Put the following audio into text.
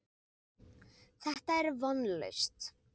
Þetta er vonlaust.